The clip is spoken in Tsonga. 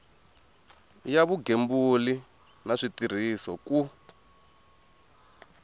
ya vugembuli na switirhiso ku